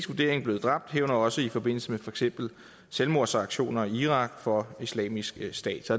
vurdering blevet dræbt herunder også i forbindelse med for eksempel selvmordsaktioner i irak for islamisk stat så